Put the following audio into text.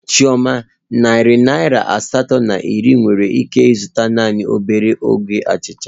Chioma, narị naira asatọ na iri nwere ike ịzụta naanị obere ogbe achịcha